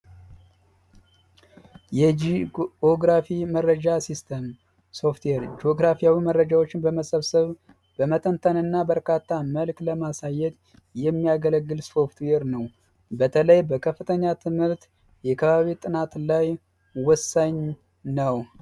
የጂኦግራፊ መረጃ ሲስተም ሶፍትዌር ጆግራፊያዊ የሆኑ መረጃዎችን በመሰብሰብ፣ በመተንተንና በካርታ መሬትን በማሳየት የሚያገለግል ሶፍትዌር ነው። በተለይ በከፍተኛ ትምህርት የከባቢ አየር ጥናት ላይ ወሳኝ ነው።